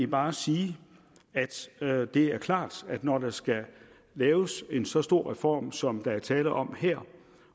bare sige at det er klart at når der skal laves en så stor reform som der er tale om her